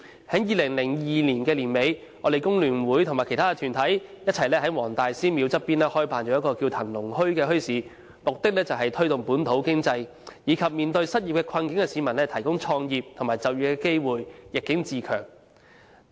在2002年年底，工聯會與其他團體在黃大仙祠旁合辦了一個名為"騰龍墟"的墟市，目的是推動本土經濟，以及為面對失業困境的市民提供創業和就業的機會，逆境自強。